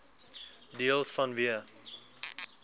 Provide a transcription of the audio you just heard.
deels vanweë